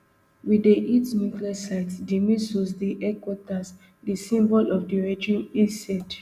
we dey hit nuclear sites di missiles di headquarters di symbols of the regime he said